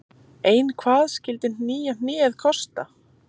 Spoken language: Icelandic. Ein hvað skyldi nýja hnéð kosta?